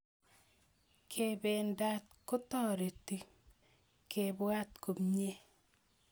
kependat kotoreti kepwat komiei